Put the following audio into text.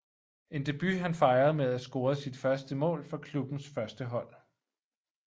En debut han fejrede med at score sit første mål for klubbens førstehold